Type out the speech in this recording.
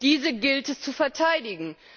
Diese gilt es zu verteidigen.